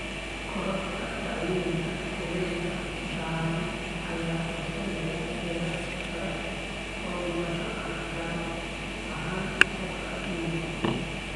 Korodhka dhacdooyinka kulaylka ba'an ayaa horseedaya heerar sare oo dhimasho ah, gaar ahaan dadka nugul.